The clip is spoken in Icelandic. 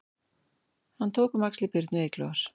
Hann tók um axlir Birnu Eyglóar